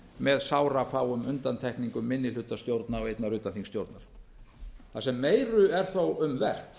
með sárafáum undantekningum minnihlutastjórna og einnar utanþingsstjórnar það sem meira er þó um vert